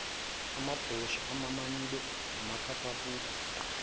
amabhrosha amamanyule amaphaphabhuku